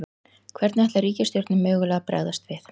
Hvernig ætlar ríkisstjórnin mögulega að bregðast við?